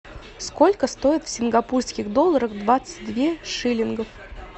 сколько стоит в сингапурских долларах двадцать две шиллингов